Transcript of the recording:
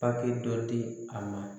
Papiye dɔ di a ma